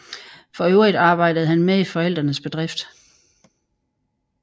For øvrigt arbejdede han med i forældrenes bedrift